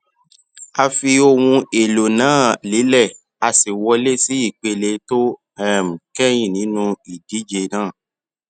a fi ohun èlò náà lélè a sì wọlé sí ìpele tó um kéyìn nínú ìdíje náà